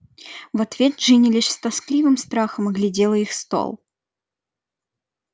в ответ джинни лишь с тоскливым страхом оглядела их стол